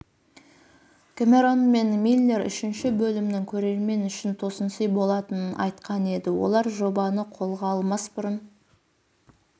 кэмерон мен миллер үшінші бөлімнің көрермен үшін тосынсый болатынын айтқан еді олар жобаны қолға алмас бұрын